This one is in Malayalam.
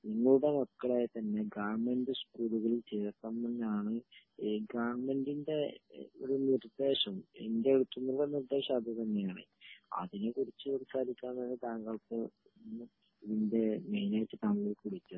നിങ്ങളുടെ മക്കളെ തന്നെ ഗവൺമെന്റ് സ്കൂളുകളിൽ ചേർത്തണമെന്ന് തന്നെ ആണ് ഗവൺമെന്റ് ന്റെ ഒരു നിർദ്ദേശം ഇന്റെ നിർദ്ദേശം അത് തന്നെ ആണ് അതിനെ കുറിച്ച് സംസാരിക്കാനാണ് താങ്കൾക്കു